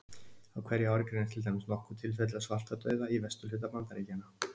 Á hverju ári greinast til dæmis nokkur tilfelli af svartadauða í vesturhluta Bandaríkjanna.